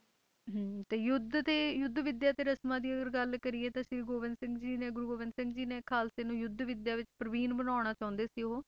ਹਮ ਤੇ ਯੁੱਧ ਤੇ ਯੁੱਧ ਵਿਦਿਆ ਤੇ ਰਸਮਾਂ ਦੀ ਅਗਰ ਗੱਲ ਕਰੀਏ ਤਾਂ ਸ੍ਰੀ ਗੋਬਿੰਦ ਸਿੰਘ ਜੀ ਨੇ ਗੁਰੂ ਗੋਬਿੰਦ ਸਿੰਘ ਜੀ ਨੇ ਖ਼ਾਲਸੇ ਨੂੰ ਯੁੱਧ ਵਿਦਿਆ ਵਿੱਚ ਪ੍ਰਬੀਨ ਬਣਾਉਣਾ ਚਾਹੁੰਦੇ ਸੀ ਉਹ।